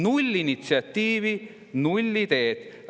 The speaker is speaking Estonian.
Null initsiatiivi, null ideed!